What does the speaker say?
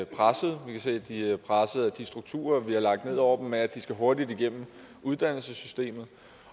pressede vi kan se at de er pressede af de strukturer vi har lagt ned over dem med at de skal hurtigt igennem uddannelsessystemet